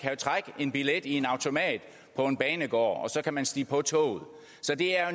trække en billet i en automat på en banegård og så kan man stige på toget så det er